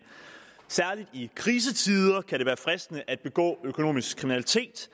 særlig i krisetider kan det være fristende at begå økonomisk kriminalitet